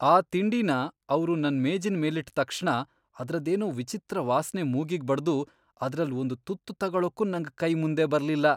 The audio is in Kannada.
ಆ ತಿಂಡಿನ ಅವ್ರು ನನ್ ಮೇಜಿನ್ ಮೇಲಿಟ್ಟ್ ತಕ್ಷಣ ಅದ್ರದ್ದೇನೋ ವಿಚಿತ್ರ ವಾಸ್ನೆ ಮೂಗಿಗ್ ಬಡ್ದು ಅದ್ರಲ್ಲ್ ಒಂದ್ ತುತ್ತು ತಗೊಳಕ್ಕೂ ನಂಗ್ ಕೈ ಮುಂದೆ ಬರ್ಲಿಲ್ಲ.